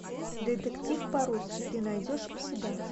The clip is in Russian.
детектив по русски ты найдешь у себя